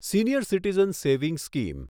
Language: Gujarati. senior citizen savings scheme